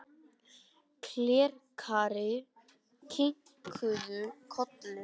Klerkarnir kinkuðu kolli.